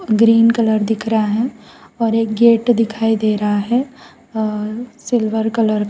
green colour दिख रहा है और एक गेट दिखाई दे रहा है और सिल्वर कलर का--